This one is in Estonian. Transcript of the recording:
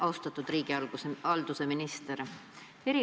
Austatud riigihalduse minister!